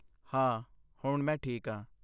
ਹਾਂ ਹੁਣ ਮੈਂ ਠੀਕ ਹਾਂ।